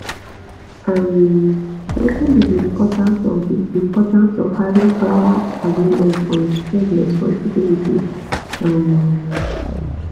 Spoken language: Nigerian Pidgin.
um wetin be di importance of di importance of having claer agreement on shared responsibilities um